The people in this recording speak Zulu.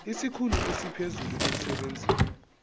isikhulu esiphezulu emsebenzini